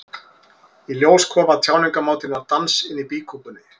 Í ljós kom að tjáningarmátinn var dans inni í býkúpunni.